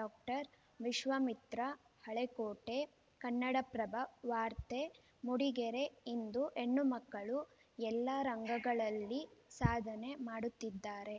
doctor Vishwamitra Halekote Kannada Prabha ವಾರ್ತೆ ಮೂಡಿಗೆರೆ ಇಂದು ಹೆಣ್ಣು ಮಕ್ಕಳು ಎಲ್ಲ ರಂಗಗಳಲ್ಲಿ ಸಾಧನೆ ಮಾಡುತ್ತಿದ್ದಾರೆ